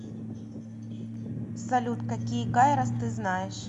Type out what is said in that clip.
салют какие кайрос ты знаешь